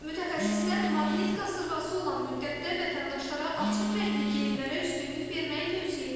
Mütəxəssislər maqnit qasırğası olan müddətdə vətəndaşlara açıq rəngli geyimlərə üstünlük verməyi tövsiyə edirlər.